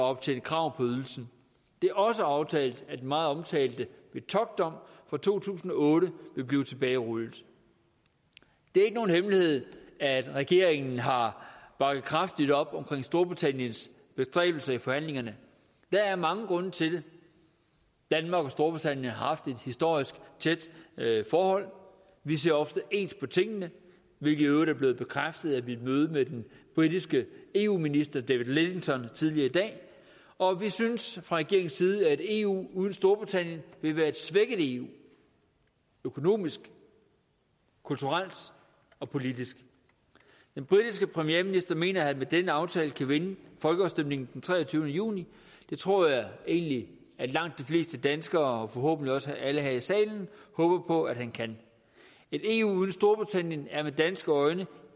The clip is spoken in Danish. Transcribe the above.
optjent krav på ydelsen det er også aftalt at den meget omtalte metockdom fra to tusind og otte vil blive tilbagerullet det er ikke nogen hemmelighed at regeringen har bakket kraftigt op omkring storbritanniens bestræbelser i forhandlingerne der er mange grunde til det danmark og storbritannien har haft et historisk tæt forhold vi ser ofte ens på tingene hvilket i øvrigt er blevet bekræftet ved et møde med den britiske eu minister david lidington tidligere i dag og vi synes fra regeringens side at et eu uden storbritannien vil være et svækket eu økonomisk kulturelt og politisk den britiske premierminister mener at han med denne aftale kan vinde folkeafstemningen den treogtyvende juni det tror jeg egentlig langt de fleste danskere og forhåbentlig også alle her i salen håber på han kan et eu uden storbritannien er med danske øjne